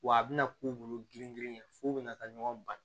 Wa a bɛna k'u bolo girin girin f'u bɛna taa ɲɔgɔn ba